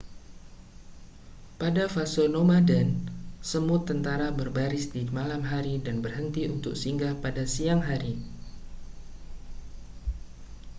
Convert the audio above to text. pada fase nomaden semut tentara berbaris di malam hari dan berhenti untuk singgah pada siang hari